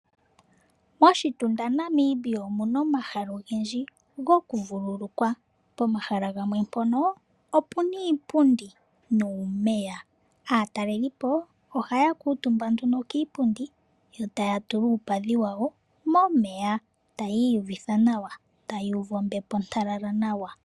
Moshitunda Namibia omuna omahala ogendji go ku vululukwa. Pomahala gamwe mpono opena iipundi nuumeya. Aatalelipo oha ya kuutumba nduno kiipundi yo ta ya tula uupadhi wawo momeya. Taya iyuvutha nawa, taya uvu ombepo ontalala nawa.